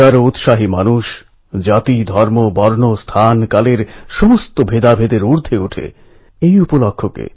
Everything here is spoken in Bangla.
এটাই প্রয়োজন যে আমরা শান্ত মনে স্থির চিত্তে নিজেদের লক্ষ্যে মনোনিবেশ করি এবং তার জন্য কাজ করতে থাকি